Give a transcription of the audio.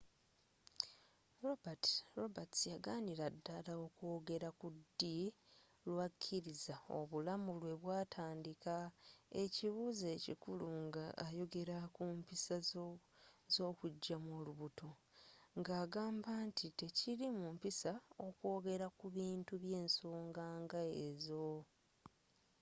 roberts yaganira ddala okwogera ku ddi lwakkiriza obulamu lwe butandika ekibuuzo ekikulu nga oyogera ku mpisa z'okugyamu olubuto nga agamba nti tekiri mu mpisa okwogera ku bintu by'ensonga nga ezo